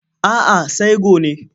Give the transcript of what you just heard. A'a sai gone.